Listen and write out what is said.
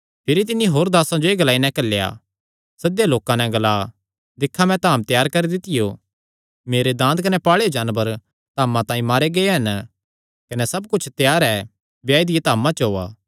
भिरी तिन्नी होर दासां जो एह़ ग्लाई नैं घल्लेया सद्देयो लोकां नैं ग्ला दिक्खा मैं धाम त्यार करी दित्तियो मेरे दांद कने पाल़ेयो जानवर धामा तांई मारे गै हन कने सब कुच्छ त्यार ऐ ब्याये दिया धामा च ओआ